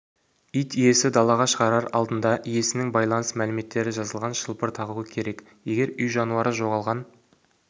ит иесі далаға шығарар алдында иесінің байланыс мәліметтері жазылған шылбыр тағуы керек егер үй жануары жоғалған